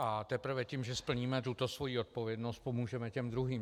A teprve tím, že splníme tuto svoji odpovědnost, pomůžeme těm druhým.